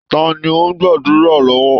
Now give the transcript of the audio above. Ta ni ó ń gbàdùrá lọ́wọ́?